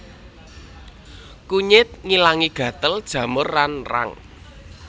Kunyit ngilangi gatel jamur lan rang